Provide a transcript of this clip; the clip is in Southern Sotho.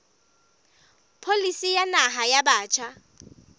pholisi ya naha ya batjha